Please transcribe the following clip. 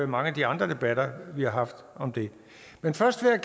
mange af de andre debatter vi har haft om det men først vil